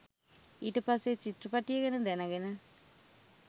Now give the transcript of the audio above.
ඊට පස්සෙ චිත්‍රපටිය ගැන දැනගෙන